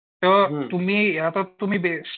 त तुम्ही आता तुम्ही